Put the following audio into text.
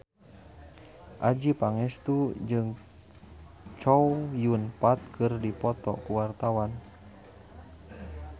Adjie Pangestu jeung Chow Yun Fat keur dipoto ku wartawan